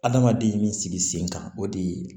Adamaden min sigi sen kan o de ye